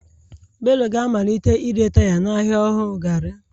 Bello ga-amalite ire taya n'ahịa ọhụrụ gari.